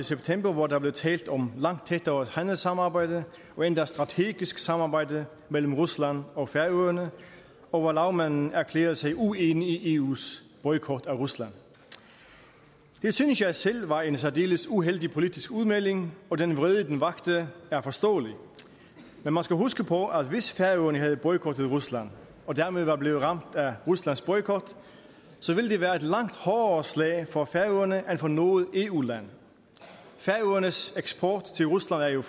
september hvor der blev talt om langt tættere handelssamarbejde og endda strategisk samarbejde mellem rusland og færøerne og hvor lagmanden erklærede sig uenig i eus boykot af rusland det synes jeg selv var en særdeles uheldig politisk udmelding og den vrede den vakte er forståelig men man skal huske på at hvis færøerne havde boykottet rusland og dermed var blevet ramt af ruslands boykot ville det være et langt hårdere slag for færøerne end for noget eu land færøernes eksport til rusland er jo